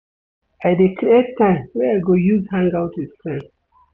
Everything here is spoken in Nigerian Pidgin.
I dey create time wey I go use hang-out wit friends.